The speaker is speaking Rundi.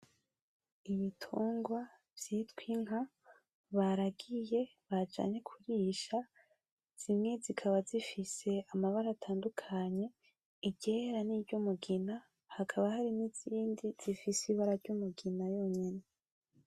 Ibitungwa vyitwa inka baragiye, bajanye kurisha, zimwe zikaba zifise amabara atandukanye, iryera n'iryumugina, hakaba harimwo izindi zifise ibara ry'umugina yonyene.